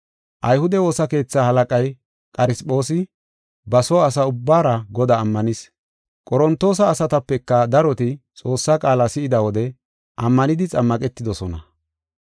Ayhude woosa keetha halaqay Qarisphoosi ba soo asa ubbaara Godaa ammanis. Qorontoosa asatapeka daroti Xoossaa qaala si7ida wode ammanidi xammaqetidosona.